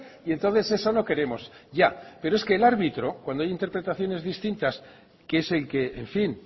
y entonces eso no queremos ya pero es que el árbitro cuando hay interpretaciones distintas que es el que en fin